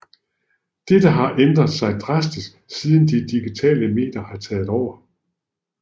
Dette har ændret sig drastisk siden de digitale medier har taget over